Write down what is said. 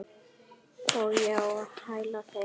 Og ég á hæla þeirra.